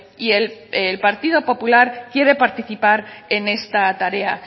y el partido popular quiere participar en esta tarea